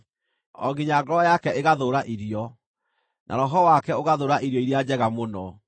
o nginya ngoro yake ĩgathũũra irio, na roho wake ũgathũũra irio iria njega mũno.